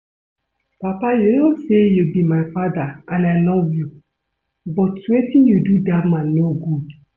Papa you know say you be my father and I love you but wetin you do dat man no good